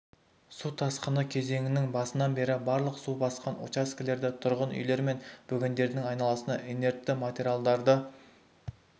су тасқыны кезеңінің басынан бері барлық су басқан учаскелерде тұрғын үйлер мен бөгендердің айналасына инертті материалдарды